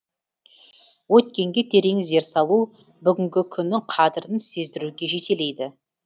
өткенге терең зер салу бүгінгі күннің қадірін сездіруге жетелейді